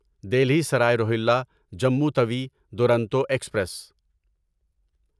Delhi Sarai Rohilla Jammu Tawi Duronto express